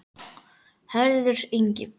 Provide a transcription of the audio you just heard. Hörður Ingi.